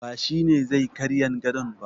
Ba shi ne zai karyan gadon ba